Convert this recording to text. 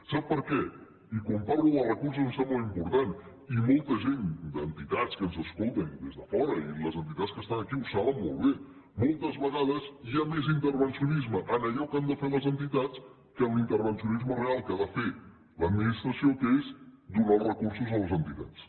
sap per què i quan parlo de recursos em sembla important i molta gent d’entitats que ens escolten des de fora i les entitats que estan aquí ho saben molt bé moltes vegades hi ha més intervencionisme en allò que han de fer les entitats que en l’intervencionisme real que ha de fer l’administració que és donar els recursos a les entitats